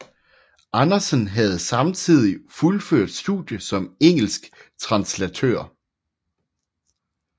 Andersen havde samtidig fuldført studiet som engelsk translatør